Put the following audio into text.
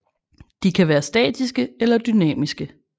De kan være statiske eller dynamiske